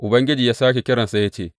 Ubangiji ya sāke kiransa ya ce, Sama’ila!